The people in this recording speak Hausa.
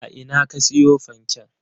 A ina ka siyo fanken?